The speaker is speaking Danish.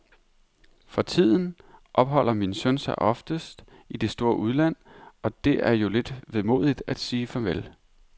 For tiden opholder min søn sig oftest i det store udland og det er jo lidt vemodigt at sige farvel.